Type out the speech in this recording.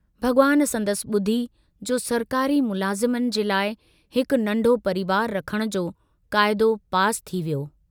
भगवान संदसि बुधी जो सरकारी मुलाज़िमन जे लाइ हिकु नन्ढो परिवार रखण जो काइदो पास थी वियो।